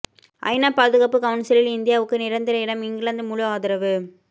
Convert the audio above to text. ஐநா பாதுகாப்பு கவுன்சிலில் இந்தியாவுக்கு நிரந்தர இடம் இங்கிலாந்து முழு ஆதரவு